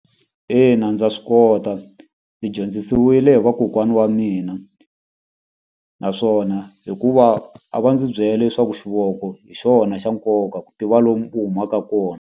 Ina ndza swi kota ndzi dyondzisiwile hi vakokwana wa mina naswona hikuva a va ndzi byela leswaku xivongo hi xona xa nkoka ku tiva lomu u humaka kona.